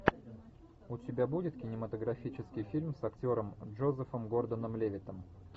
у тебя будет кинематографический фильм с актером джозефом гордоном левиттом